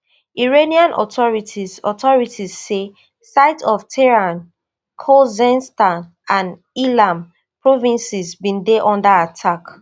iranian authorities authorities say sites for tehran khuzestan and ilam provinces bin dey under attack